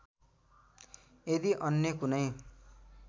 यदि अन्य कुनै